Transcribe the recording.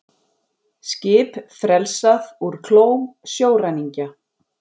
Skip frelsað úr klóm sjóræningja